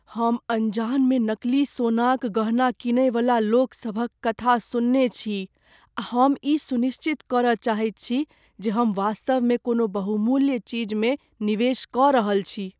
हम अनजान मे नकली सोनाक गहना कीनयवला लोकसभक कथा सुनने छी, आ हम ई सुनिश्चित करय चाहैत छी जे हम वास्तवमे कोनो बहुमूल्य चीजमे निवेश कऽ रहल छी।